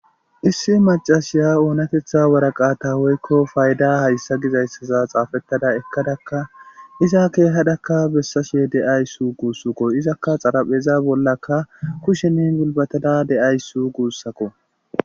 issi macashiya oonatetha waraqata woykko fayda hayssa gizayssaza xaafettada ekkadakka iza keehadakka bessashe de'awssu guussakko izakka xarapheza bollaka kushenin gulbatada de'ayssu guussakko